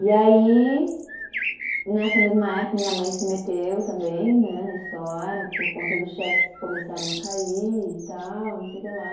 E aí, nessa mesma época, minha mãe se meteu também né, na história por conta dos cheques que começaram a cair e tal, não sei o que lá.